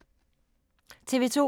TV 2